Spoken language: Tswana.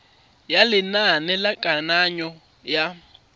ya lenane la kananyo ya